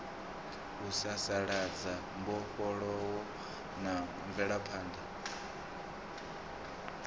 u sasaladza mbofholowo na mvelaphanḓa